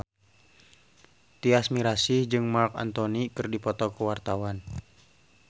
Tyas Mirasih jeung Marc Anthony keur dipoto ku wartawan